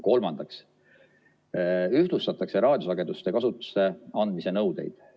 Kolmandaks ühtlustatakse raadiosageduste kasutusse andmise nõudeid.